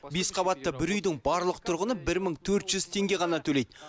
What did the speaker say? бес қабатты бір үйдің барлық тұрғыны бір мың төрт жүз теңге ғана төлейді